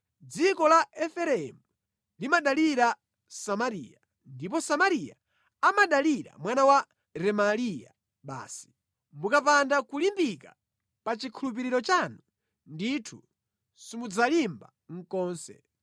Dziko la Efereimu limadalira Samariya ndipo Samariya amadalira mwana wa Remaliya basi. Mukapanda kulimbika pa chikhulupiriro chanu, ndithu simudzalimba konse.’ ”